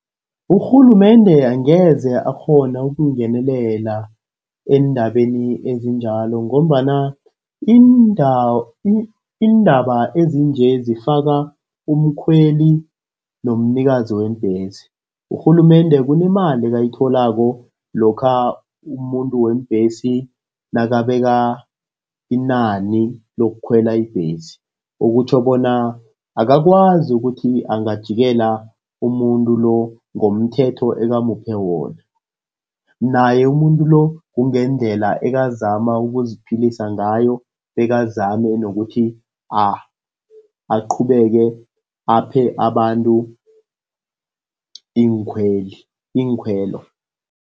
Urhulumende angeze akghona ukungenelela eendabeni ezinjalo ngombana iindaba ezinje zifaka umkhweli nomnikazi weembhesi. Urhulumende kunemali ayitholako lokha umuntu weembhesi nakabeka inani lokukhwela ibhesi. Okutjho bona akakwazi ukuthi angajikela umuntu lo ngomthetho ebamuphe wona. Naye umuntu lo, kungendlela ekazama ukuziphilisa ngayo, bekazame nokuthi aqhubeke aphe abantu iinkhweli, iinkhwelo.